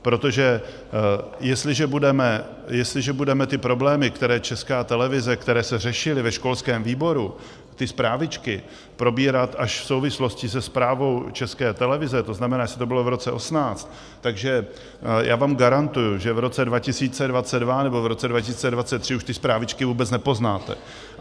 Protože jestliže budeme ty problémy, které Česká televize, které se řešily ve školském výboru, ty Zprávičky, probírat až v souvislosti se zprávou České televize, to znamená, jestli to bylo v roce 2018, tak já vám garantuji, že v roce 2022 nebo v roce 2023 už ty Zprávičky vůbec nepoznáte.